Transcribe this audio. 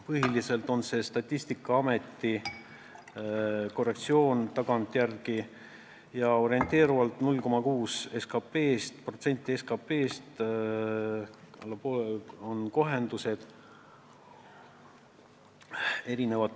Põhiliselt on see Statistikaameti korrektsioon ja need kohendused, täpsustused on orienteerivalt 0,6% SKP-st.